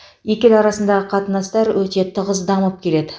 екі ел арасындағы қатынастар өте тығыз дамып келеді